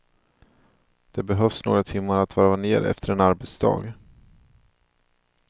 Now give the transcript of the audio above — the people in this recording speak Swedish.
Det behövs några timmar att varva ner efter en arbetsdag.